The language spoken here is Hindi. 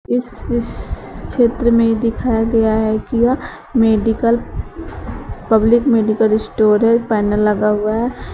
इस इस क्षेत्र में दिखाया गया है कि यह मेडिकल पब्लिक मेडिकल स्टोरेज है पैनल लगा हुआ है।